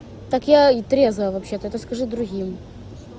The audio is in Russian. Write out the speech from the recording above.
так я и трезвая вообще-то это скажи другим